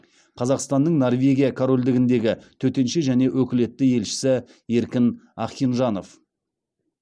қазақстанның норвегия корольдігіндегі төтенше және өкілетті елшісі еркін ахинжанов